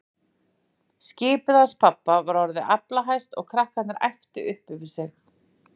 Skipið hans pabba var orðið aflahæst og krakkarnir æptu upp yfir sig.